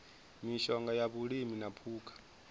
mishonga ya vhulimi na phukha